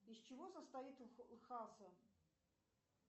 из чего состоит